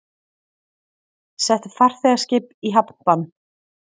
Settu farþegaskip í hafnbann